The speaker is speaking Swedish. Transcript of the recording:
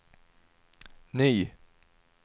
ny